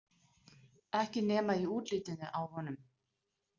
Ekki nema í útlitinu á honum.